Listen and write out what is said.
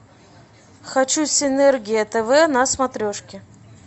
хочу синергия тв на смотрешке